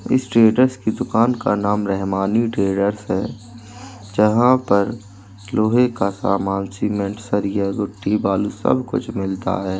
इस ट्रेडर्स की दुकान का नाम रहमानी ट्रेडर्स है। जहाँ पर लोहे का सामान सीमेंट सरिया गिट्टी बालू सब कुछ मिलता है।